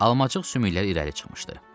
Almaciq sümükləri irəli çıxmışdı.